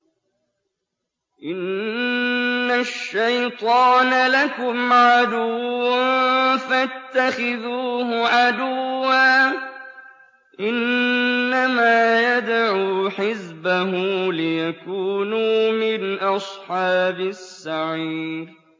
إِنَّ الشَّيْطَانَ لَكُمْ عَدُوٌّ فَاتَّخِذُوهُ عَدُوًّا ۚ إِنَّمَا يَدْعُو حِزْبَهُ لِيَكُونُوا مِنْ أَصْحَابِ السَّعِيرِ